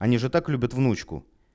они же так любит внучку